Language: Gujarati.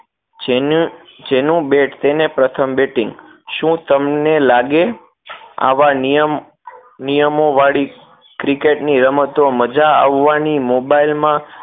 જેનું જેનું bat તેને પ્રથમ batting શું તમને લાગે આવા નિયમ નિયમોવાળી cricket ની રમતો મજા આવવાની મોબાઈલ માં